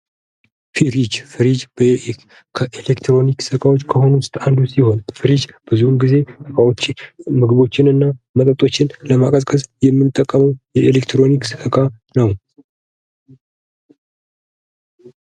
ፍሪጅ ። ፍሪጅ ከኤሌትሮኒክስ እቃዎች ከሆኑት ውስጥ አንዱ ሲሆን ፍሪጅ ብዙውን ጊዜ ከውጭ ምግቦችን እና መጠጦችን ለማቀዝቀዝ የምንጠቀመው የኤሌትሮኒክስ እቃ ነው ።